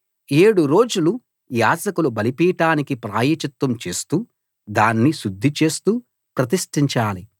ఏడు రోజులు యాజకులు బలిపీఠానికి ప్రాయశ్చిత్తం చేస్తూ దాన్ని శుద్ధి చేస్తూ ప్రతిష్ఠించాలి